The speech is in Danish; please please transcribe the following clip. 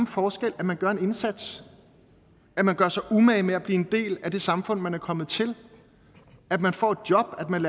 forskel at man gør en indsats at man gør sig umage med at blive en del af det samfund man er kommet til at man får et job at man